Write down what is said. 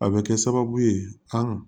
A bɛ kɛ sababu ye an